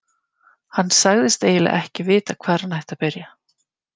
Hann sagðist eiginlega ekki vita hvar hann ætti að byrja.